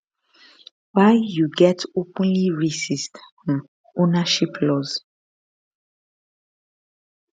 why you get openly racist um ownership laws